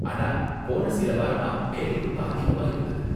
ஆனா, போன சில வாரமா வேலை ரொம்ப அதிகமா இருந்தது.